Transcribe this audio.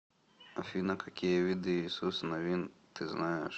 афина какие виды иисус навин ты знаешь